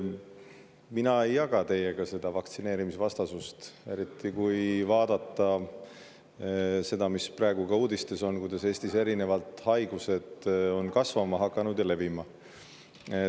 Mina ei jaga teiega seda vaktsineerimisvastasust, eriti kui vaadata seda, mis praegu uudistes on, kuidas Eestis on erinevad haigused levima hakanud.